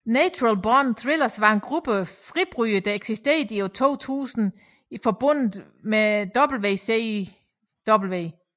Natural Born Thrillers var en gruppe fribrydere der eksisterede i 2000 i forbundet WCW